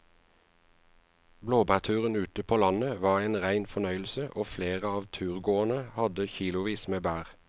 Blåbærturen ute på landet var en rein fornøyelse og flere av turgåerene hadde kilosvis med bær.